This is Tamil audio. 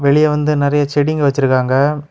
வெளிய வந்து நெறைய செடிங்க வச்சிருக்காங்க.